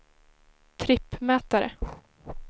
trippmätare